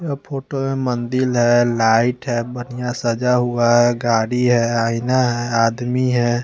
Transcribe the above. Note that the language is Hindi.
यह फोटो मंदिर है लाईट है बढ़िया सजा हुआ है गाडी है आइना है आदमी है।